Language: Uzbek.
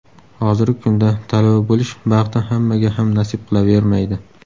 Hozirgi kunda talaba bo‘lish baxti hammaga ham nasib qilavermaydi.